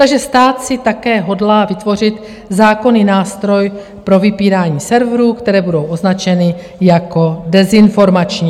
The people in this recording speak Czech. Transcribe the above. Takže stát si také hodlá vytvořit zákonný nástroj pro vypínání severů, které budou označeny jako dezinformační.